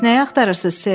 Bəs nəyi axtarırsız, Ser?